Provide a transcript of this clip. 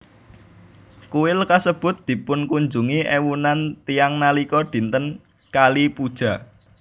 Kuil kasebut dipunkunjungi éwunan tiyang nalika dinten Kali Puja